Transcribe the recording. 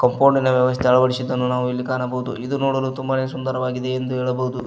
ಕಂಪೊಂಡಿನ ವ್ಯವಸ್ತೆ ಅಳವಡಿಸಿದನ್ನು ನಾವು ಇಲ್ಲಿ ಕಾಣಬಹುದು ಇಲ್ಲಿ ಕಾಣಬಹುದು ಇದು ನೋಡಲು ತುಂಬಾನೆ ಸುಂದರವಾಗಿವೆ ಎಂದು ನಾವು ಹೇಳಬಹುದು.